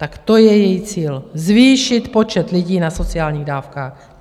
Tak to je její cíl - zvýšit počet lidí na sociálních dávkách.